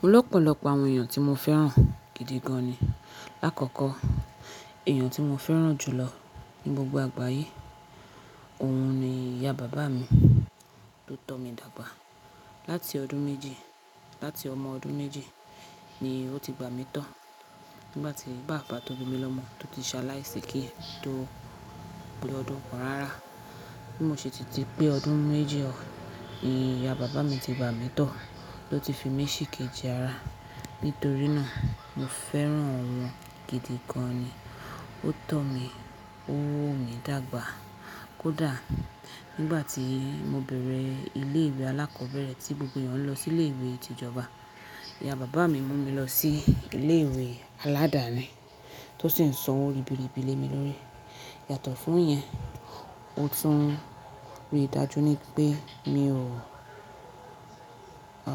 Mo lọ́pọ̀lọpọ̀ àwọn èèyàn tí mo fẹ́ràn gidi gan ni. Láàkọ́kọ́ èèyàn tí mo fẹ́ràn jù lọ ní gbogbo àgbáyé, òun ni ìyá bàbá mi tó tọ́ mi dàgbà. Láti ọdún méjì, láti ọmọ ọdún méjì ni ó ti gbà mí tọ́. Nígbà tí bàbá tó bí mi lọ́mọ, to ti ṣaláìsi kí n tó pe ọdún kan rara. Bí mo ṣe ti ti dé pé ọdún méjì, ni ìyá bàbá mi ti gbà mí tọ́, ló ti fi mí sìkejì ara. Nítorí náà mo fẹ́ràn won gidi gan ni. Ó tọ́ mi, ó wo mi dàgbà. Kódà nígbà tí mo bẹ̀rẹ̀ ilé ìwé alákọ̀ọ́bẹ̀rẹ̀ tí gbogbo èèyàn ń lọ sí ilé ìwé tì ìjọba, ìyá bàbá mi mú mi lọ sí ilé ìwé aládàáni tó sì ń san owó ribiribi lé mi lórí. Yàtọ̀ fún ìyẹn, ó tún rí dájú ni pé mi ò, à,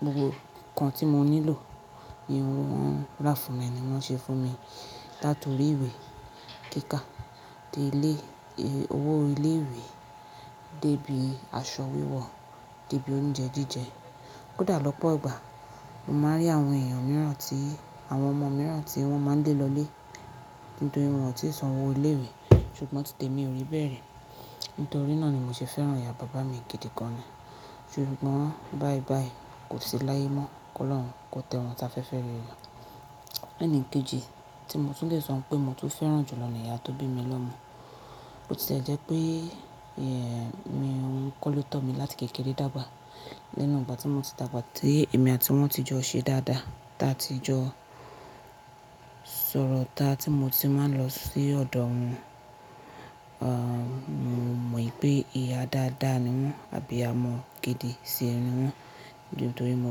gbogbo nǹkan tí mo nílò, ni wọ̀n rá fúnmi ni wọ́n ṣe fún mi. Láti orí ìwé kíkà dé ilé, owó ilé ìwé dé bí aṣọ wíwọ dé bí oúnjẹ jíjẹ. Kódà lọ́pọ̀ ìgbà, mo máa ń rí àwọn èèyàn mìíràn tí, àwọn ọmọ mìíràn tí wọ́n máa ń lé lọlé nítorí wọn ò tíì san owó ilé ìwé, ṣùgbọ́n tìtì emi ò rí bẹ́ẹ̀ ri. Nítorí náà ni mo ṣe fẹ́ràn ìyá bàbá mi gidi gan ni. Ṣùgbọ́n báyibáyi kò sí láye mọ́, kí Ọlọ́run kó tẹ́ wọn si afẹ́fẹ́ rere. Ẹni kejì tí mo tún lè sọ pé mo tún fẹ́ràn jù lọ ni ìyá tó bí mi lọ́mọ. Bo ti le jẹ́ pé, ẹ́, mi òún kọ́ lo tọ́ mi láti kékeré dàgbà. Lẹ́nu ìgbà tí mo ti dàgbà tí èmi àti wọn ti jọ ṣẹ dáadáa, ta ti jọ sọ̀rọ̀, ta tí mo ti máa ń lọ sí ọ̀dọ̀ won, à, mo mọ wipé ìyá dáadáa ni wọ́n àbíyamọ gidi ṣe ni wọ́n nítorí mo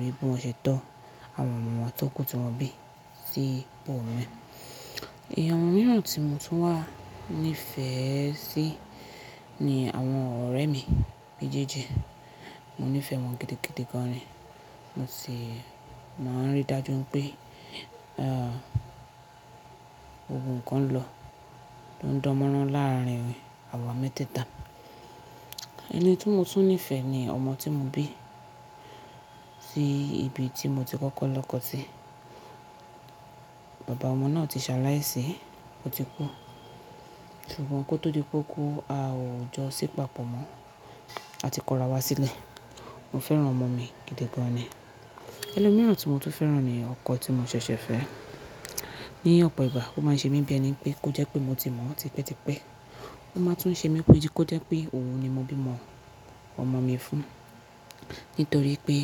rí bí wọ́n ṣe tọ́ àwọn ọmọ won tó kù tí wọ́n bí sí ibò mii. Ẹ̀yàn mìíràn tí mo tún wà nífẹ̀ẹ́ sí ni àwọn ọ̀rẹ́ mi méjèèjì. Mo nífẹ̀ẹ́ wọn gidi gan ni. Mo sì máa ń rí dájú pé, à, gbogbo nkan lọ, tó ń dánmọ́rán láàrin awa meteeta. Ẹni tí mo tún nífẹ̀ẹ́ ni ọmọ tí mo bí sí ibi tí mo ti kọ́kọ́ lọkọ̀ sí. Bàbá ọmọ náà ti ṣaláìsí, ó ti kú. Ṣùgbọ́n kó tó di pé ó kú, a ò jọ sí pàpọ̀ mọ́, a ti kọra wá sílẹ̀. Mo fẹ́ràn ọmọ mi gidi gan ni. Ẹni mìíràn tí mo tún fẹ́ràn ni ọkọ tí mo ṣẹ̀ṣẹ̀ fẹ́. Ni ọ̀pọ̀ ìgbà ó máa ń ṣe mí bí ẹni pé kó jẹ́ pé mo ti mọ̀ ọ́ tipẹ́tipẹ́. Ó máa tún ń ṣe mí pé kó jẹ́ pé òun ni mo bí mọ ọmọ mi fún. Nítorí pé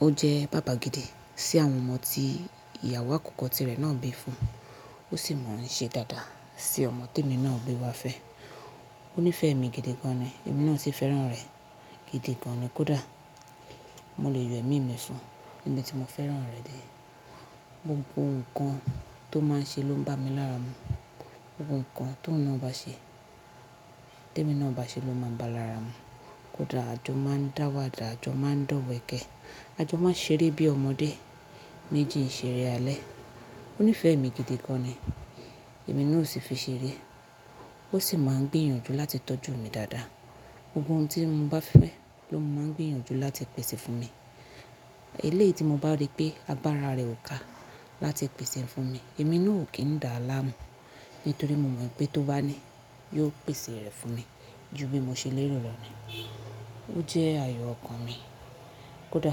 ó jẹ́ bàbá gidi sí àwọn ọmọ tí ìyàwó àkọ́kọ́ tirẹ̀ náà bí fún. Ó sì mọ̀ ń ṣe dáadáa sí ọmọ tí èmi náà gbe wá fẹ́. Ó nífẹ̀ẹ́ mi gidi gan ni. Èmi náà sì fẹ́ràn rẹ̀ gidi gan ni. Kódà mo lè yọ ẹ̀mí mi fún níbi tí mo fẹ́ràn rẹ̀ dé. Gbogbo n kan tó máa ń ṣe ló ń bá mi lára mu. Gbogbo n kan tó ohun na ba ṣe, tí èmi náà bá ṣe ló máa ń báa lára mu. Kódà à jò máa ń dáwàdà, à jò máa ń dọ̀wẹ̀kẹ́, à jò máa ń ṣeré bí ọmọdé méjì ń ṣeré alẹ́. Ó nífẹ̀ẹ́ mi gidi gan ni. Èmi náà ò sì fi ṣeré. Ó sì máa ń gbìyànjú láti tọ́jú mi dáadáa. Gbogbo ohun tí mo bá fẹ́ ló máa ń gbìyànjú láti pèsè fún mi. Eleyii tí mo bá rí pé agbára rẹ̀ ò ká láti pèsè e fún mi, èmi náà ò kí ń dá láàmú nítorí mo mọ̀ wipé tó bá ní, yiò pèsè rẹ̀ fún mi ju bí mo ṣe lérò lọ ni. Ó jẹ́ ayò ọkàn mi. Kódà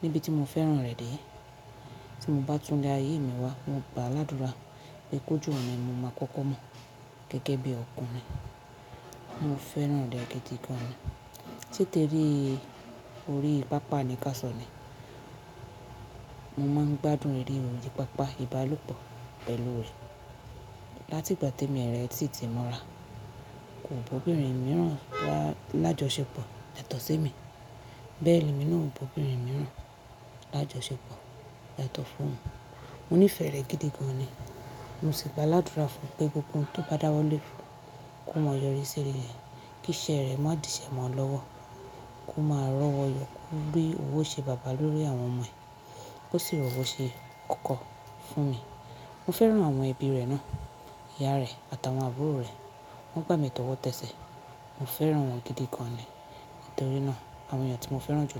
níbi tí mo fẹ́ràn rẹ̀ dé, tí mo bá tún ilé ayé mi wá, mo gba ládura pé kó je ọ̀hun ni mo máa kọ́kọ́ mọ̀ gẹ́gẹ́ bí ọkùnrin. Mo fẹ́ràn rẹ̀ gidi gan ni. Se tere orí pápá ní káàsọ̀ ni. Mo máa ń gbádùn eré orí pápá, ìbálòpọ̀ pẹ̀lú rẹ̀. Láti ìgbà tí emi rẹ sí ti mọ́ra, kò ba obìnrin mìíràn wa lájọṣepọ̀ yàtọ̀ sí emi. Bẹ́ẹ̀ ni èmi náà ò baa obìnrin mìíràn lájọṣepọ̀ yàtọ̀ fún òun. Mo nífẹ̀ẹ́ rẹ̀ gidi gan ni. Mo sì gba aládura fún un pé gbogbo ohun tó bá dáwọ́lé kó máa yọrí sí rerẹ̀, kí iṣẹ́ rẹ̀ má di ìṣẹ́ mọ́ lọ́wọ́, kó máa rọ́wọ́ yọ̀ kó rí owó ṣe bàbá lórí àwọn ọmọ ẹ̀. Ó sì rọ́wó ṣe ókó fún mi. Mo fẹ́ràn àwọn ẹbí rẹ̀ náà, ìyá rẹ̀ àtàwọn àbúrò rẹ̀. Wọ́n gbà mí tọ́wọ́tẹ́ṣẹ́. Mo fẹ́ràn wọn gidi gan ni. Nítorí náà àwọn èèyàn tí mo fẹ́ràn jù lọ.